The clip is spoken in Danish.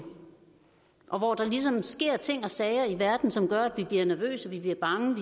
og hvor der ligesom sker ting og sager i verden som gør at vi bliver nervøse at vi bliver bange